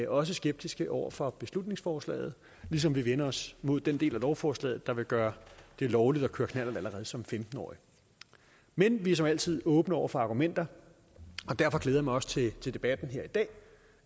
også skeptiske over for beslutningsforslaget ligesom vi vender os mod den del af lovforslaget der vil gøre det lovligt at køre knallert allerede som femten årig men vi er som altid åbne over for argumenter og derfor glæder jeg mig også til debatten her i dag